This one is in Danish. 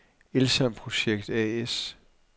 Elsamprojekt A/S